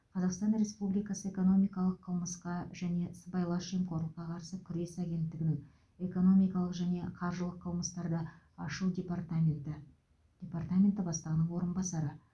қазақстан республикасы экономикалық қылмысқа және сыбайлас жемқорлыққа қарсы күрес агенттігінің экономикалық және қаржылық қылмыстарды ашу департаменті департаменті бастығының орынбасары